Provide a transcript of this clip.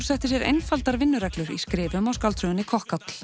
setti sér einfaldar vinnureglur í skrifum á skáldsögunni